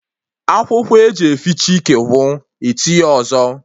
Akwụkwọ eji efiche ike gwụ, etinye ọzọ